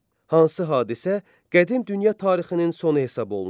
Hansı hadisə qədim dünya tarixinin sonu hesab olunur?